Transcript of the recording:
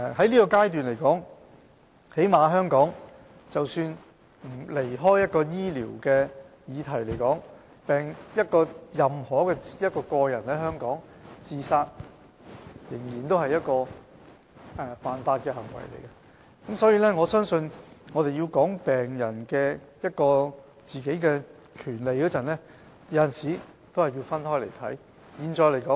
在現階段來說，或最低限度在香港來說，即使抽離醫療的議題，任何人在香港自殺仍屬違法行為，所以，我相信在談論病人權利時，我們有時候是需要分開來看的。